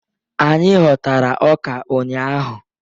Anyị ghọtara ọka ụnyahụ